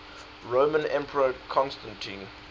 roman emperor constantine